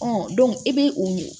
i bɛ o ye